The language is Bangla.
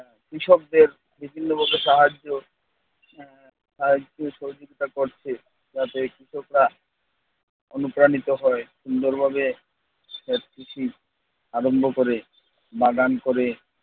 কৃষকদের বিভিন্ন প্রকার সাহায্য আহ সাহায্য-সহযোগিতা করছে যাতে কৃষকরা অনুপ্রাণিত হয়। সুন্দরভাবে প্রকৃতির আরম্ভ করে বা দান করে